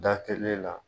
Da telele la